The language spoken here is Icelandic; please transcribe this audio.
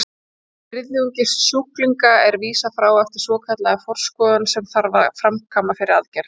Um þriðjungi sjúklinga er vísað frá eftir svokallaða forskoðun sem þarf að framkvæma fyrir aðgerð.